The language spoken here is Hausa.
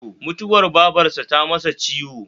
Mutuwar babarsa ta masa ciwo